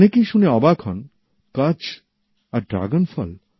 অনেকেই শুনে অবাক হন কচ্ছ আর ড্রাগনফল